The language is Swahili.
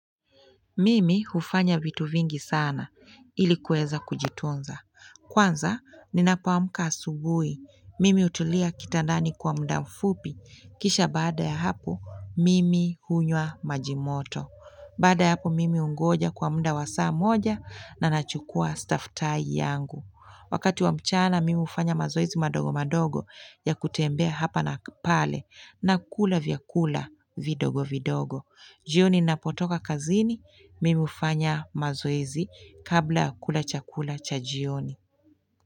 Mimi hufanya vitu vingi sana ili kuweza kujitunza. Kwanza ninapoamka asubuhi. Mimi hutulia kitandani kwa muda mfupi. Kisha baada ya hapo mimi hunywa majimoto. Baada ya hapo mimi hungoja kwa muda wa saa moja na nachukua staftahi yangu. Wakati wa mchana, mimi hufanya mazoezi madogo madogo ya kutembe hapa na pale na kula vya kula vidogo vidogo. Jioni napotoka kazini, mimi hufanya mazoezi kabla ya kula chakula cha jioni.